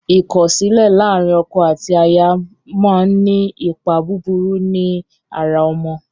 Ikọsilẹ làrin ọkọ àti àyà món ní ni Ipá búburú ní àrà ọmọ.